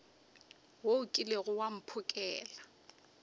wo o kilego wa mphokela